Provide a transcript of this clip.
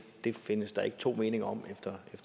det findes der ikke to meninger om efter